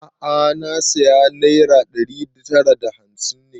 A'a na saya naira ɗari tara da hamsin